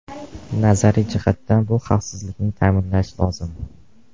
Nazariy jihatdan, bu xavfsizlikni ta’minlashi lozim.